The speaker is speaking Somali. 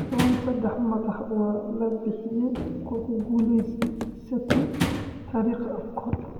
Tawan - Seddex madax waa la bixiyay kuwa ku guulleysatay taariikh Afcon.